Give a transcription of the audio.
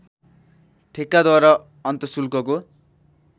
ठेक्काद्वारा अन्तशुल्कको